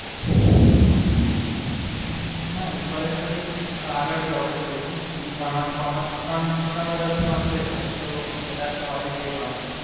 નહીં, કોલેજ પછી આગળ જોબ જ કરવી છે, બીજું ભણવાનું કોમર્સ ત્રણ વર્ષ નું હશે પછી તો વધારે તો કઈ હોય નહીં ભણવાનું.